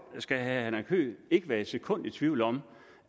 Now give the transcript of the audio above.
skal herre henrik høegh ikke være et sekund i tvivl om